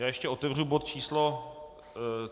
Já ještě otevřu bod číslo